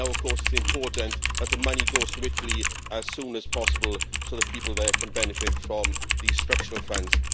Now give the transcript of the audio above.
Now, of course, it is important that the money goes to Italy as soon as possible, so the people there can benefit from these Structural Funds.